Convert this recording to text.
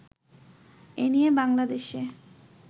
এ নিয়ে বাংলাদেশে